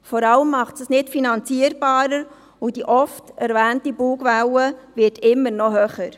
Vor allem macht es das Ganze nicht finanzierbarer, und die oft erwähnte Bugwelle wird immer noch höher.